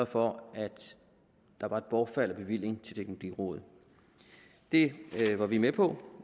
for at der var et bortfald af bevilling til teknologirådet det var vi med på